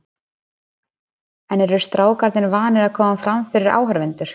En eru strákarnir vanir að koma fram fyrir áhorfendur?